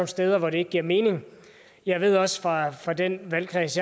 steder hvor det ikke giver mening jeg ved også fra den valgkreds